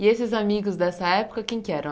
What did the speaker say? E esses amigos dessa época, quem que eram?